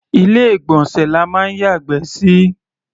Ilé-ìgbọ̀nsẹ̀ la máa ń yàgbẹ́ sí.